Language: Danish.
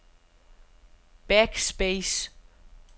backspace